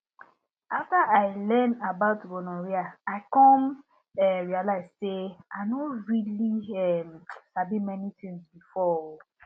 after i learn about gonorrhea i come um realize say i no really um sabi many things before um